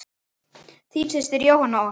Þín systir Jóhanna Ósk.